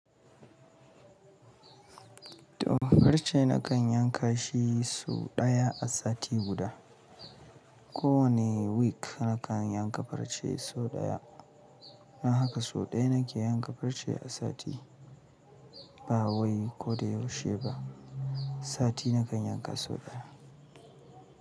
To farce na kan yanka shi sau ɗaya a sati guda. Ko wane week na kan yanka farce sau ɗaya. Don haka sau ɗaya na ke yanka farce a sati. Ba wai ko da yaushe ba. Sati na kan yanka sau ɗaya.